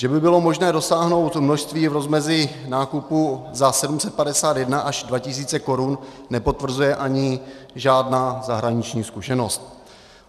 Že by bylo možné dosáhnout množství v rozmezí nákupu za 751 až 2 tisíce korun, nepotvrzuje ani žádná zahraniční zkušenost.